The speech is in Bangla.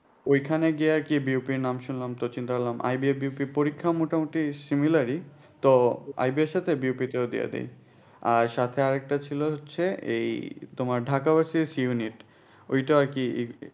ওইখানে গিয়ে কি এর নাম শুনলাম তো চিন্তা করলাম পরীক্ষা মোটামুটি similar ই তো এর সাথে ও দিয়ে দি আর সাথে আর একটা ছিল হচ্ছে এই তোমার ঢাকা ওইটা আর কি